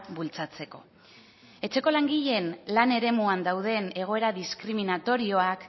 bultzatzeko etxeko langileen lan eremuan dauden egoera diskriminatorioak